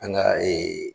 An ga